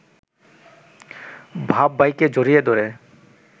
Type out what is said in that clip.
বাপ-ভাইকে জড়িয়ে ধরে